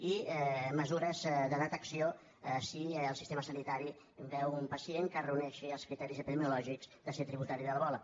i mesures de detecció si el sistema sanitari veu un pacient que reuneixi els criteris epidemiològics de ser tributari de l’ebola